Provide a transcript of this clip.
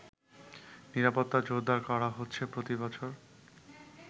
নিরাপত্তা জোরদার করা হচ্ছে প্রতিবছর